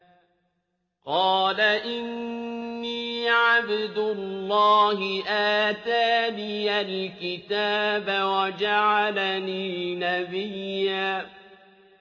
قَالَ إِنِّي عَبْدُ اللَّهِ آتَانِيَ الْكِتَابَ وَجَعَلَنِي نَبِيًّا